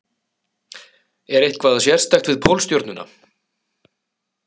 Er eitthvað sérstakt við Pólstjörnuna?